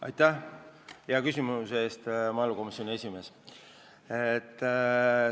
Aitäh hea küsimuse eest, maaelukomisjoni esimees!